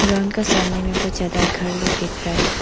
Ground का सामने में बहोत ज्यादा घर लोग दिख रहा है।